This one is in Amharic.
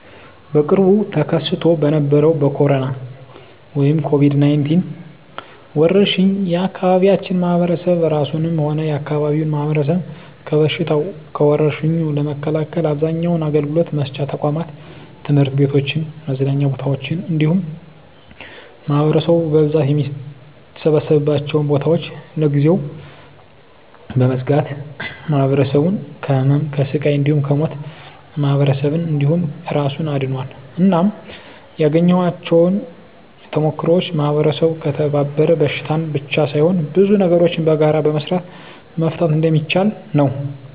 በቅርቡ ተከስቶ በነበረዉ በኮሮና(ኮቪድ 19) ወረርሽ የአካባቢያችን ማህበረሰብ እራሱንም ሆነ የአካባቢውን ማህበረሰብ ከበሽታዉ (ከወርሽኙ) ለመከላከል አብዛኛዉን አገልግሎት መስጫ ተቋማት(ትምህርት ቤቶችን፣ መዝናኛ ቦታወችን እንዲሁም ማህበረሰቡ በብዛት የሚሰበሰብባቸዉን ቦታወች) ለጊዜዉ በመዝጋት ማህበረሰቡን ከህመም፣ ከስቃይ እንዲሁም ከሞት ማህበረሰብን እንዲሁም እራሱን አድኗል። እናም ያገኘኋቸዉ ተሞክሮወች ማህበረሰቡ ከተባበረ በሽታን ብቻ ሳይሆን ብዙ ነገሮችን በጋራ በመስራት መፍታት እንደሚችል ነዉ።